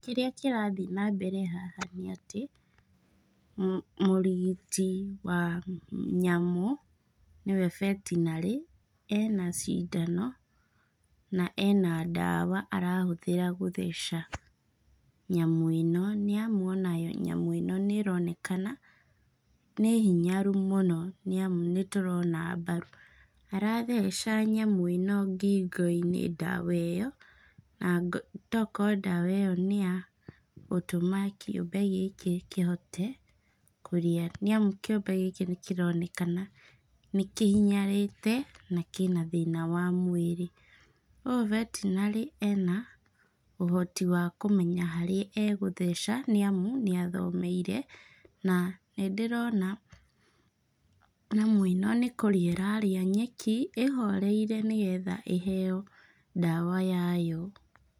Kĩrĩa kĩrathiĩ na mbere haha nĩ atĩ, mũrigiti wa nyamũ, nĩwe vetinarĩ, ena cindano, na ena ndawa arahũthĩra gũtheca nyamũ ĩno. Nĩamu ona nyamũ ĩno nĩ ĩronekana nĩ hinyaru mũno nĩamu nĩ tũrona mbaru. Aratheca nyamũ ĩno ngingo-inĩ ndawa ĩyo, na tokoro ndawa ĩyo nĩ ya gũtũma kĩũmbe gĩkĩ kĩhote, kũrĩa. Nĩamu kĩũmbe gĩkĩ kĩronekana nĩ kĩhinyarĩte, na kĩna thĩna wa mwĩrĩ. Ũyũ vetinarĩ ena ũhoti wa kũmenya harĩa egũtheca, nĩamu nĩ athomeire, na nĩ ndĩrona nyamũ ĩno nĩ kũrĩa ĩrarĩa nyeki ĩhoreire nĩgetha ĩheo ndawa yayo.